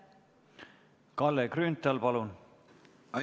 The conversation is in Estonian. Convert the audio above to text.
Kalle Grünthal, palun!